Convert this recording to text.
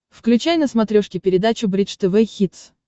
включай на смотрешке передачу бридж тв хитс